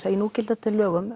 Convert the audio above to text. að í núgildandi lögum